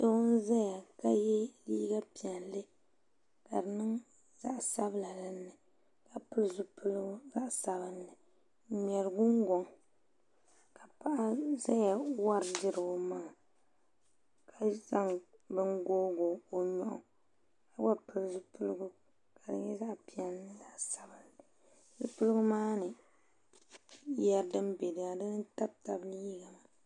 Doo n-zaya ka ye liiga piɛlli ka di niŋ zaɣ' sabila di ni ka pili zupiligu zaɣ' sabinli n-ŋmɛri gungɔŋ ka paɣa zaya wari diri o maŋa ka zaŋ bini tooi o nyuɣu ka gba pili zupiligu ka di nyɛ zaɣ' piɛlli ni zaɣ' sabinli zupiligu maa ni yɛri din beni dini tabi tabi liiga maa